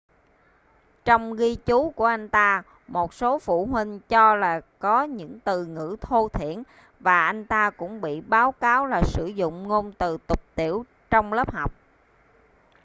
trong ghi chú của anh ta một số phụ huynh cho là có những từ ngữ thô thiển và anh ta cũng bị báo cáo là sử dụng ngôn từ tục tĩu trong lớp học